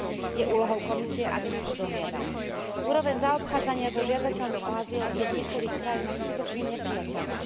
Je úlohou Komisie, aby na to dohliadala. Úroveň zaobchádzania so žiadateľmi o azyl je v niektorých krajinách skutočne neprijateľná.